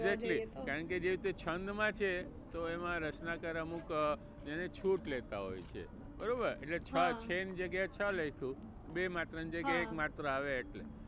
Exactly કારણકે જે રીતે છંદ માં છે તો એમાં રચનાકર અમુક એનીછૂટ લેતા હોય છે બરોબર એટલે છ છે ની જગ્યા એ છ લખ્યું. બે માત્રા ની જગ્યા એ એક માત્ર આવે એટલે.